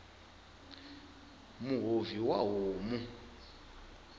muhovhi wa homu